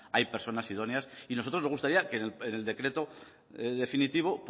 hay personas idóneas y a nosotros nos gustaría que en el decreto definitivo